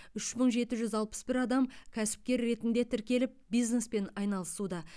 үш мың жеті жүз алпыс бір адам кәсіпкер ретінде тіркеліп бизнеспен айналысуда